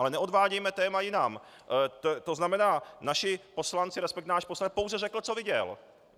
Ale neodvádějme téma jinam, to znamená, naši poslanci, resp. náš poslanec pouze řekl, co viděl.